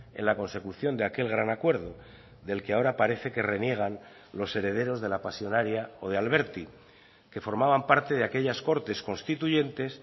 en la consecución de aquel gran acuerdo del que ahora parece que reniegan los herederos de la pasionaria o de alberti que formaban parte de aquellas cortes constituyentes